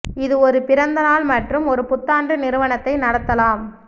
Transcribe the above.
இது ஒரு பிறந்த நாள் மற்றும் ஒரு புத்தாண்டு நிறுவனத்தை நடத்தலாம்